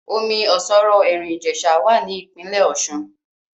Omi ọ̀ṣọ̀rọ̀ Ẹ̀rín Ìjẹ̀sà wà ní Ìpínlẹ̀ Ọ̀ṣun